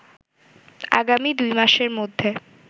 আগামী দুই মাসের মধ্যে